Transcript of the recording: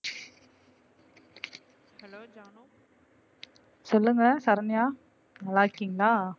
சொல்லுங்க சரண்யா நல்லா இருக்கீங்களா?